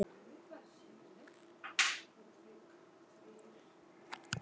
Vildi hún virkilega eiga barn núna, eftir allt saman?